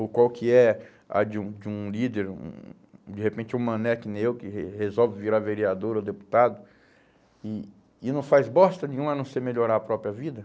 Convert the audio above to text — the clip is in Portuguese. ou qual que é a de um de um líder, um, de repente um mané que nem eu, que re resolve virar vereador ou deputado, e e não faz bosta nenhuma a não ser melhorar a própria vida.